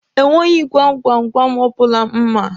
E nweghi gwam gwam gwam ọbụla m ma.